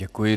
Děkuji.